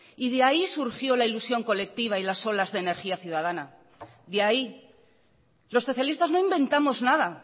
y de ahí surgió la ilusión colectiva y las olas de energía ciudadana de ahí los socialistas no inventamos nada